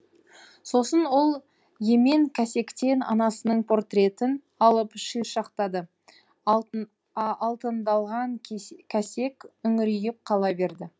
сосын ол емен кәсектен анасының портретін алып шиыршықтады алтындалған кәсек үңірейіп қала берді